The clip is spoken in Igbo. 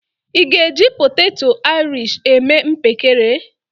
Ị́ ga-eji poteto airish eme mpekere?